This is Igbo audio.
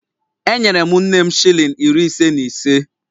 Enyere m nne m shilling iri ise na ise